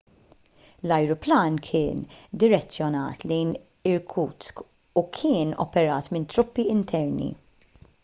l-ajruplan kien direzzjonat lejn irkutsk u kien operat minn truppi interni